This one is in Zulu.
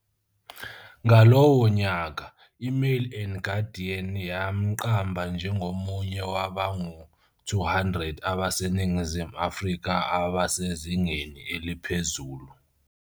Ngalowo nyaka, iMail and Guardian yamqamba njengomunye wabangu-200 abaseNingizimu Afrika abasezingeni eliphezulu.